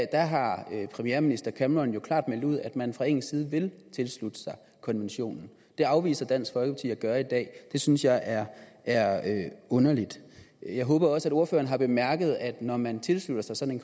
der har premierminister cameron jo klart meldt ud at man fra engelsk side vil tilslutte sig konventionen det afviser dansk folkeparti at gøre i dag det synes jeg er er underligt jeg håber også at ordføreren har bemærket at når man tilslutter sig sådan